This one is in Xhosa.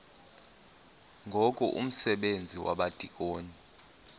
ngoku umsebenzi wabadikoni